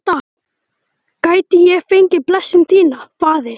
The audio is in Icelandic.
Gæti ég fengið blessun þína, faðir?